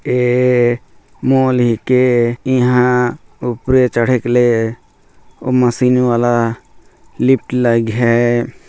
ए mall के इहाँ ऊपरे चढ़ेक ले मशीन वाला लिफ्ट लाइग है।